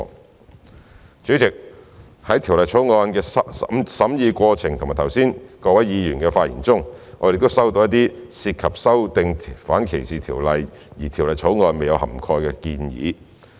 代理主席，在《條例草案》的審議過程以及剛才各位議員的發言中，我們亦收到一些涉及修訂反歧視條例的建議，而有關建議未納入《條例草案》內。